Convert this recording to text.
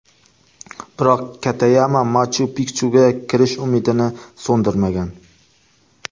Biroq Katayama Machu-Pikchuga kirish umidini so‘ndirmagan.